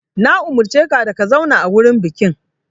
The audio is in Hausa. Na umurce ka da ka zauna a wurin bukin!